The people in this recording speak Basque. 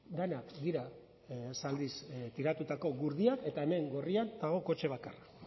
denak dira zaldiz tiratutako gurdiak eta hemen gorrian dago kotxe bakarra